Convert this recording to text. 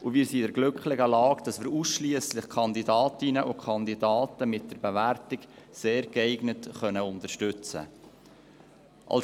und wir sind in der glücklichen Lage, dass wir ausschliesslich Kandidatinnen und Kandidaten mit der Bewertung «sehr geeignet» unterstützen können.